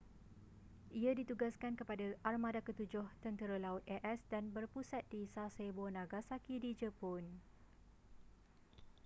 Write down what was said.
ia ditugaskan kepada armada ketujuh tentera laut a.s. dan berpusat di sasebo nagasaki di jepun